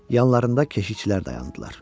Yanlarında keşişçilər dayandılar.